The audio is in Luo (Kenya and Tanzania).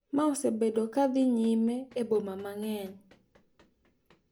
Ma osebedo ka dhi nyime e boma mang`eny.